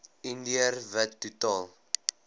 indiër wit totaal